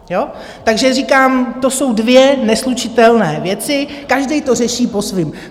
Takže říkám, to jsou dvě neslučitelné věci, každý to řeší po svém.